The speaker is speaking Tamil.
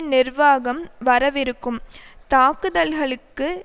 நிர்வாகம் வரவிருக்கும் தாக்குதல்களுக்கு